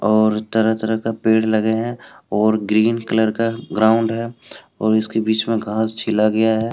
और तरह तरह का पेड़ लगे हैं और ग्रीन कलर का ग्राउंड है और इसके बीच मे घास छिला गया है।